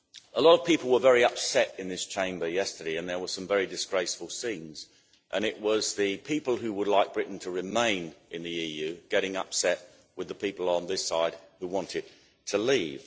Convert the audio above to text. A lot of people were very upset in this Chamber yesterday and there were some very disgraceful scenes, and it was the people who would like Britain to remain in the EU getting upset with the people on this side who want it to leave.